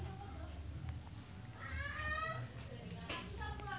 Zaskia Gotik olohok ningali Alam Tam keur diwawancara